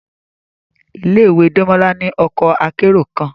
Ile-iwe Demola ni ọkọ akero kan